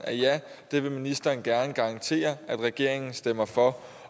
at ja det ville ministeren gerne garantere at regeringen stemte for